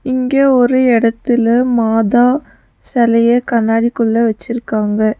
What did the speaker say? இங்க ஒரு எடத்துல மாதா செலைய கண்ணாடிக்குள்ள வச்சுருக்காங்க.